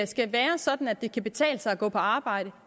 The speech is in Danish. skal være sådan at det kan betale sig at gå på arbejde